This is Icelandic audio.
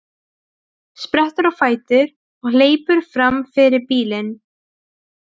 Sprettur á fætur og hleypur fram fyrir bílinn.